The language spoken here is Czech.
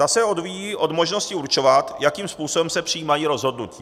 Ta se odvíjí od možnosti určovat, jakým způsobem se přijímají rozhodnutí.